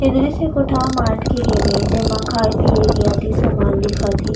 इस दृश्य कोठा मार्ट के हेवे जेमा खाये पिये के अति समान दिखत हे।